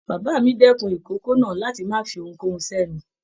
Bàbá mí dẹkùn ikòkò náà láti má fí ohunkohun s'ẹnu.